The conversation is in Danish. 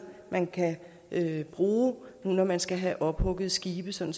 man kan bruge når man skal have ophugget skibe sådan